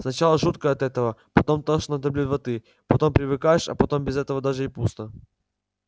сначала жутко от этого потом тошно до блевоты потом привыкаешь а потом без этого даже и пусто